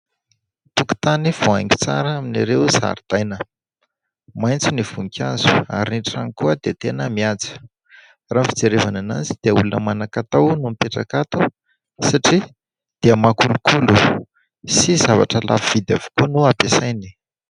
Tokotany voahaingo tsara amin'ireo zaridaina. Maitso ny voninkazo ary ny trano koa dia tena mihaja. Raha ny fijerevana anazy dia olona manan-katao no mipetraka ato satria dia mahakolokolo sy zavatra lafo vidy avokoa no ampiasainy.